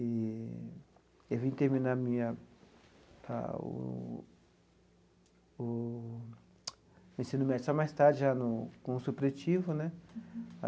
E eu vim terminar a minha a o o o ensino médio só mais tarde, já no com o supletivo, né?